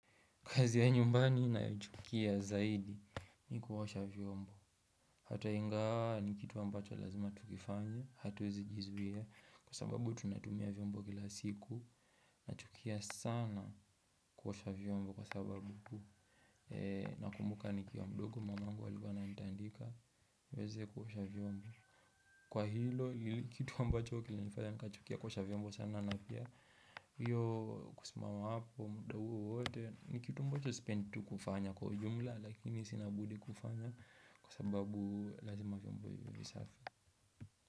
Kazi ya nyumbani ninayo chukia zaidi ni kuosha vyombo. Hata ingawa ni kitu ambacho lazima tukifanye, hatuwezi jizuia. Kwa sababu tunatumia vyombo kila siku. Nachukia sana kuosha vyombo kwa sababu. Nakumbuka nikiwa mdogo mama yangu alikua ananitandika. Weze kuosha vyombo. Kwa hilo, kitu ambacho kilinifanya nikachukia kuosha vyombo sana na pia. Hiyo kusimama hapo muda huo wote ni kitu moja sipendi tu kufanya kwa jumla lakini sina budi kufanya kwa sababu lazima vyombo iwe safi.